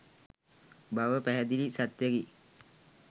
බව පැහැදිලි සත්‍යයකි.